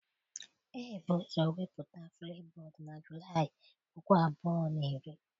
Ebu ụzọ wepụta Flipbod na Julaị puku abụọ na iri.